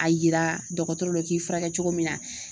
A yira dɔgɔtɔrɔ la u k'i fura kɛ cogo min na.